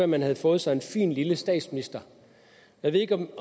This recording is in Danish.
man ville få sig en fin lille statsminister jeg ved ikke